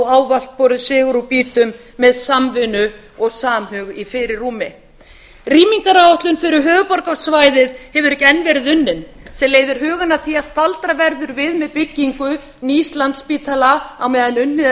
ávallt borið sigur úr býtum með samvinnu og samhug í fyrirrúmi rýmingaráætlun fyrir höfuðborgarsvæðið hefur ekki enn verið unnin sem leiðir hugann að því að staldra verður við með byggingu nýs landspítala á meðan unnið er